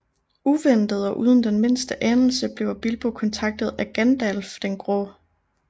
Uventet og uden den mindste anelse bliver Bilbo kontaktet af Gandalf den Grå